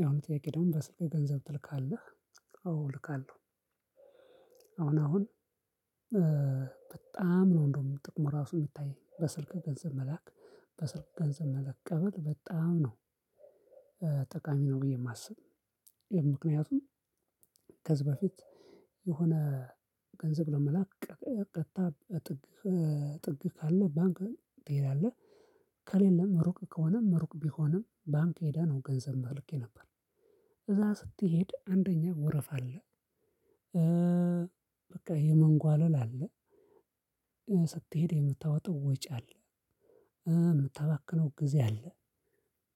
የሆነ ጥያቄ ደግሞ በስልክ ገንዘብ ትልካለህ? አዎ እልካለሁ። አሁን አሁን በጣም ነው እንደውም ጥቅሙ ራሱ የሚታየኝ በስልክ ገንዘብ መላክ በስልክ ገንዘብ መላክ መቀበል በጣም ነው። ጠቃሚ ነው ብዬ የማስብ ይሄን ምክንያቱም ከዚህ በፊት የሆነ ገንዘብ ለመላክ ቀጥታ ጥግ ጥግ ካለ ባንክ ትሄዳለህ። ከሌለም ሩቅ ከሆነ ሩቅ ቢሆንም ባንክ ሄደህ ነው ገንዘብ እልክ የነበረው እዛ ስትሄድ አንደኛ ወረፋ አለ። በቃ የመንጓለል አለ። ስትሄድ የምታወጣው ወጪ አለ። እምታባክነው ጊዜ አለ።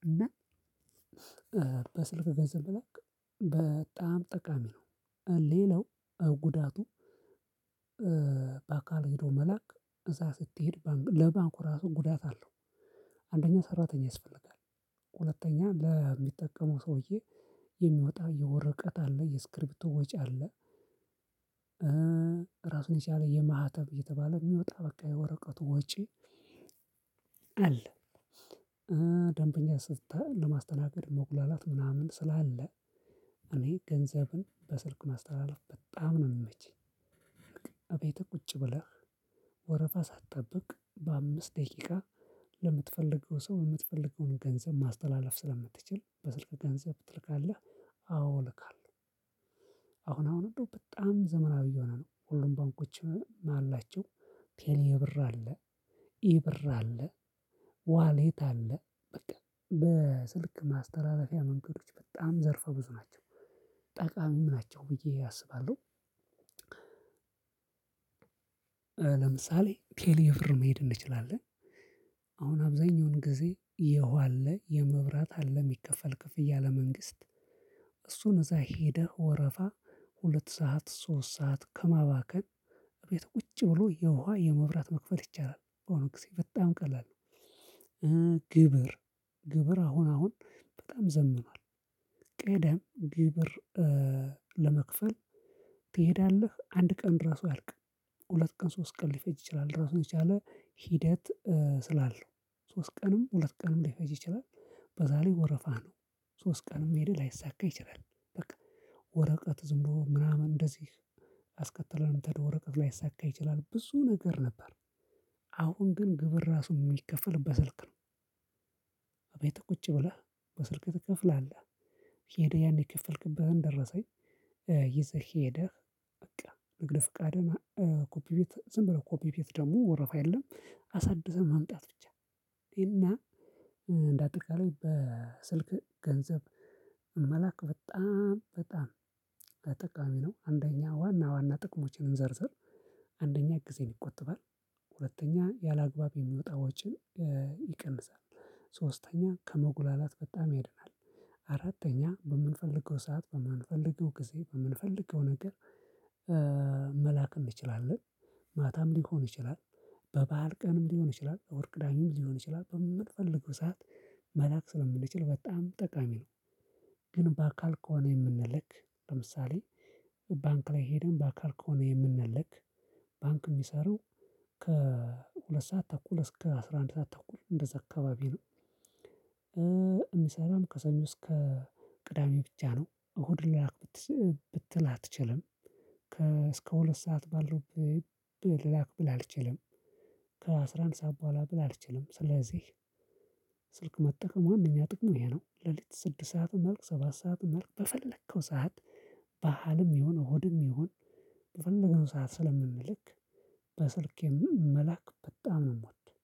እና በስልክ ገንዘብ መላክ በጣም ጠቃሚ ነው። ሌላው ጉዳቱ። በአካል ሄዶ መላክ እዛ ስትሄድ ባንኩ ለባንኩ ራሱ ጉዳት አለው። አንደኛ ሰራተኛ ያስፈልጋል ሁለተኛ ለሚጠቀሙ ሰውዬ የሚወጣ የወረቀት አለ የስክሪፕት ወጪ አለ። ራሱን ሲያለ የማህተብ እየተባለ የሚወጣ በቃ የወረቀቱ ወጪ አለ። ደንበኛ ስትል ለማስተናገድ መጉላላት ምናምን ስላለ እኔ ገንዘብን በስልክ ማስተላለፍ በጣም ነው የምመቸኝ። እቤት ቁጭ ብለህ ወረፋ ሳትጠብቅ በአምስት ደቂቃ ለምትፈልገው ሰው የምትፈልገውን ገንዘብ ማስተላለፍ ስለምትችል በስልክ ገንዘብ ትልካለህ? አወ እልካለሁ። አሁን አሁን እንደው በጣም ዘመናዊ የሆነ ነው ሁሉም ባንኮቺም አላቸው። ቴሌ ብር አለ ኢብር አለ ዋሌት አለ በቃ በስልክ ማስተላለፊያ መንገዶች በጣም ዘርፈ ብዙ ናቸው። ምን ናቸው ብዬ አስባለሁ። ለምሳሌ ቴሌ ብር መሄድ እንችላለን። አሁን አብዛኛውን ጊዜ የውሃ አለ የመብራት አለ የሚከፈል ክፍያ ለመንግስት እሱን እዛ ሄደህ ወረፋ ሁለት ሰዓት ሶስት ሰዓት ከማባከን እቤት ቁጭ ብሎ የውሃ የመብራት መክፈል ይቻላል። በአሁኑ ጊዜ በጣም ቀላል ነው። ግብር ግብር አሁን አሁን በጣም ዘምኗል። ቀደም ግብር ለመክፈል ትሄዳለህ አንድ ቀን ድረስ አያልቅም። ሁለት ቀን ሶስት ቀን ሊፈጅ ይችላል ራሱን የቻለ ሂደት። ስላለው ሶስት ቀንም ሁለት ቀንም ሊፈጅ ይችላል። በዛ ላይ ወረፋ ነው። ሶስት ቀንም መሄድ ላይሳካ ይችላል። በቃ ወረቀት ዝም ብሎ ምናምን እንደዚህ አስከተለንም ምተደው ወረቀቅ ላይሳካ ይችላል ብዙ ነገር ነበር። አሁን ግን ግብር ራሱ የሚከፈል በስልክ ነው። እቤት ቁጭ ብለህ በስልክ ትከፍላለህ ሄደህ ያን የከፈልክበትን ደረሰኝ ይዘህ ሄደህ በቃ ንግድ ፍቃደኛ ኮፒ ቤት ዝም ብለህ ኮፒ ቤት ደግሞ ወረፋ የለም። አሳድሰን ማምጣት ብቻ እና እንዳጠቃላይ በስልክ ገንዘብ መላክ በጣም በጣም ጠቃሚ ነው። አንደኛ ዋና ዋና ጥቅሞችን ዘርዝር አንደኛ ጊዜን ይቆጥባል። ሁለተኛ ያላግባብ የሚወጣ ወጪን ይቀንሳል። ሶስተኛ ከመጉላላት በጣም ያድናል። አራተኛ በምንፈልገው ሰዓት በማንፈልገው ጊዜ በምንፈልገው ነገር መላክ እንችላለን። ማታም ሊሆን ይችላል በባአል ቀንም ሊሆን ይችላል እሁድ ቅዳሜም ሊሆን ይችላል በምትፈልገው ሰዓት መላክ ስለምንችል በጣም ጠቃሚ ነው። ግን በአካል ከሆነ የምንልክ ለምሳሌ ባንክ ላይ ሄደን በአካል ከሆነ የምንልክ ባንክ የሚሰራው ከሁለት ሰዓት ተኩል እስከ አስራ አንድ ሰዓት ተኩል እንደዛ አካባቢ ነው። እሚሰራው ከሰኞ እስከ ቅዳሜ ብቻ ነው። እሁድ ላክ ብትል አትችልም። ከ እስከ ሁለት ሰዓት ባለው ላክ ብል አልችልም። ከአስራን ሰዓት በኋላ ብል አልችልም። ስለዚህ ስልክ መጠቀም ዋናኛ ጥቅሙ ይሄ ነው። ሌሊት ስድስት ሰዓት መላክ ሰባት ሰዓት መለክ በፈለከው ሰዓት በዓልም ይሁን እሁድም ይሁን በፈለግነው ሰዓት ስለምንልክ። በስልኬም መላክ በጣም ነው የምወደው።